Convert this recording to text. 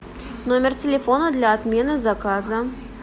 номер телефона для отмены заказа